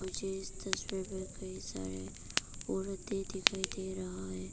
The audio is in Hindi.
मुझे इस तस्वीर में कई सारे औरतें दिखाई दे रहा है।